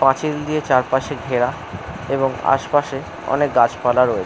পাঁচিল দিয়ে চারপাশে ঘেরা এবং আসপাশে অনেক গাছপালা রয়ে--